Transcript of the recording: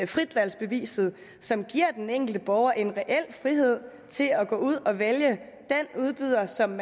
fritvalgsbeviset som giver den enkelte borger en reel frihed til at gå ud og vælge den udbyder som